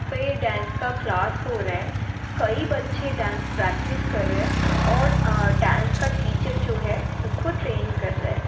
यहाँ पे ये डांस का क्लास हो रहा है। कई बच्चे डांस प्रेक्टिस कर रहे हैं औरअ डांस का टीचर जो है उसको ट्रेन कर रहे हैं।